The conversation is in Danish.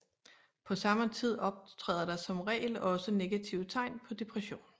På samme tid optræder der som regel også negative tegn på depression